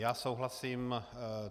Já souhlasím.